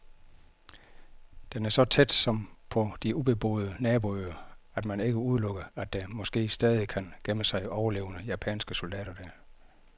Den er så tæt, som på de ubeboede naboøer, at man ikke udelukker, at der måske stadig kan gemme sig overlevende japanske soldater der.